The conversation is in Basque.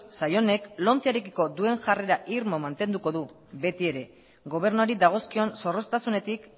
sail honek lomcearekiko duen jarrera irmo mantenduko du betiere gobernuari dagozkion zorroztasunetik